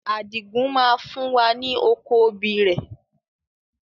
Adigun máa fún wa ní oko obì rẹ.